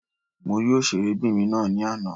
Mo rí òṣèré obìnrin ná ní àná.